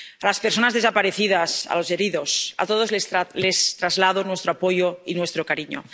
A las personas desaparecidas, a los heridos, a todos les traslado nuestro apoyo y nuestro cariño.